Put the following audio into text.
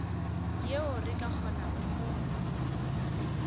yeo re ka kgonago go